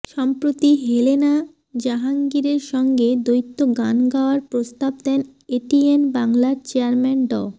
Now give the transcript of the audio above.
সম্প্রতি হেলেনা জাহাঙ্গীরের সঙ্গে দ্বৈত গান গাওয়ার প্রস্তাব দেন এটিএন বাংলার চেয়ারম্যান ড